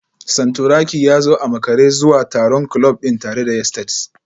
Santuraki ya zo a makare zuwa taron kulob din tare da yesteds